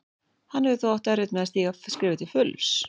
Hann hefur þó átt erfitt með að stíga skrefið til fulls.